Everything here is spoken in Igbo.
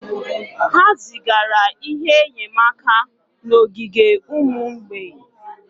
Ha zigara ihe enyemaka n'ogige ụmụ mgbei